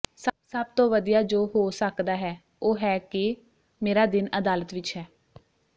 ਸਭ ਤੋਂ ਵਧੀਆ ਜੋ ਹੋ ਸਕਦਾ ਹੈ ਉਹ ਹੈ ਕਿ ਮੇਰਾ ਦਿਨ ਅਦਾਲਤ ਵਿੱਚ ਹੈ